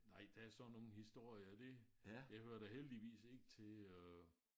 Nej der sådan nogle historier det det hører da heldigvis ikke til øh